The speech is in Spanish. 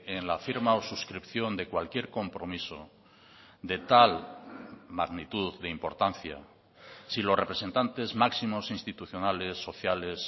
en la firma o suscripción de cualquier compromiso de tal magnitud de importancia si los representantes máximos institucionales sociales